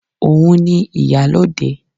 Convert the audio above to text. Òun ni ìyálóde